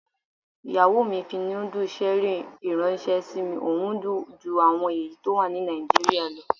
Ìyàwó mi fi núdù ṣẹ́rì ìránṣẹ́ sí mi, ohun dùn ju àwọn èyí tó wà ní Nàìjíríà lọ.